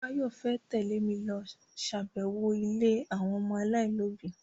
Báyọ̀ fẹ́ tẹ́lẹ̀ mi lọ ṣàbẹ̀wọ̀ ilé àwọn ọmọ aláìlóbi